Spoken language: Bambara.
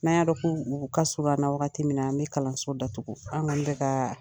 N'an ya dɔn ko u ka surun an na wagati min na an bɛ kalanso datugu an kɔni bɛ ka